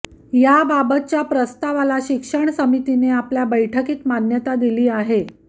याबाबतच्या प्रस्तावाला शिक्षण समितीने आपल्या बैठकीत मान्यता दिली आहे